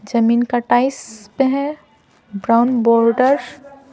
जमीन का टाइस पे है ब्राउन बॉर्डर --